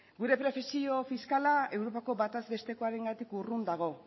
gure profesio fiskala europako bataz bestekoarengatik urrun dago